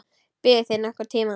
Biðuð þið nokkurn tíma?